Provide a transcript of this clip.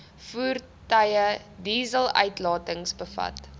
voertuie dieseluitlatings bevat